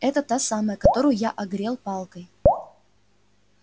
это та самая которую я огрел палкой